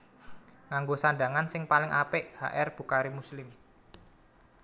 Nganggo sandhangan sing paling apik H R Bukhari Muslim